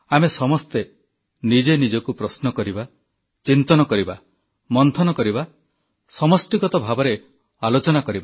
ଆମେ ସମସ୍ତେ ନିଜେ ନିଜକୁ ପ୍ରଶ୍ନ କରିବା ଚିନ୍ତନ କରିବା ମନ୍ଥନ କରିବା ସମଷ୍ଟିଗତ ଭାବରେ ଆଲୋଚନା କରିବା